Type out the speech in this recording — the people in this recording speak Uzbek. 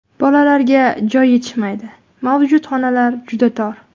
Bolalarga joy yetishmaydi, mavjud xonalar juda tor.